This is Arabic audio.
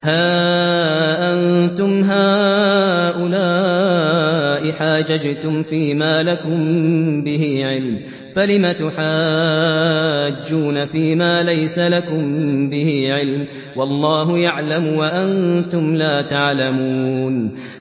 هَا أَنتُمْ هَٰؤُلَاءِ حَاجَجْتُمْ فِيمَا لَكُم بِهِ عِلْمٌ فَلِمَ تُحَاجُّونَ فِيمَا لَيْسَ لَكُم بِهِ عِلْمٌ ۚ وَاللَّهُ يَعْلَمُ وَأَنتُمْ لَا تَعْلَمُونَ